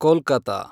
Kolkata